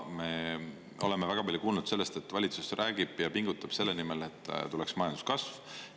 Me oleme väga palju kuulnud sellest, et valitsus räägib ja pingutab selle nimel, et tuleks majanduskasv.